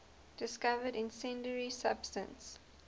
discovered incendiary substance